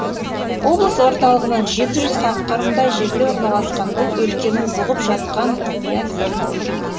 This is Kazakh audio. облыс орталығынан жеті жүз шақырымдай жерде орналасқан бұл өлкенің бұғып жатқан құпия сыры көп